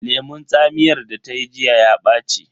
Lemun tsamiyar da ta yi jiya ya ɓaci.